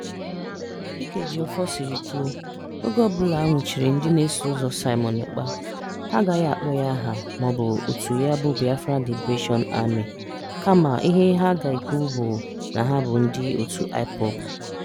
Dịka Ejiofor siri kwuo, "oge ọbụla a nwụchiri ndị na-eso ụzọ Simon Ekpa, ha agaghị akpọ ya aha maọbụ otu ya bụ Biafra Liberation Army (BLA), kama ihe ha ga-ekwu bụ na ha bụ ndị otu IPOB."